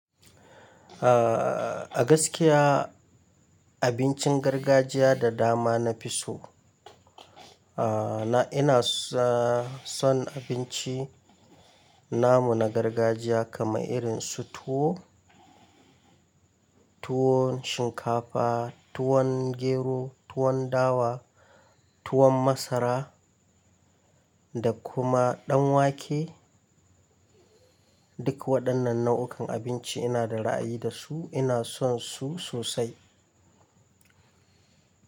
A gaskiya abincin gargajiya da dama na fi so. Aaa ina son abinci namu na gargajiya kamar irin su tuwo, tuwon shinkafa, tuwon gero, tuwon dawa, tuwon masara da kuma ɗan wake. Duk waɗannan nau'ukan abinci ina da ra'ayi da su, ina son su sosai.